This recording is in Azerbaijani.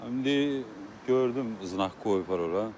İndi gördüm znak qoyublar ora.